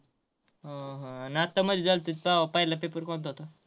हा हा आणि आता मध्ये झालेत तेव्हा पहिलं paper कोणता होता?